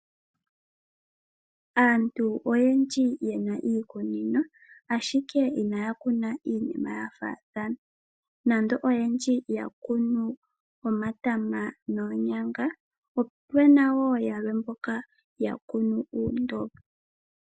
Aantu oyendji ye na iikunino, ashike inaya kuna iinima ya faathana. Nando oyendji yakunu omatama noonyanga, opuna wo yamwe mboka yakunu uundombo.